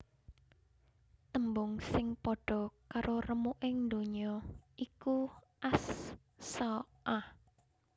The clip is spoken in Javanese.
Tembung sing padha karo remuking ndonya iku As Saa ah